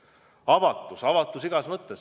Edasi: avatus, avatus igas mõttes.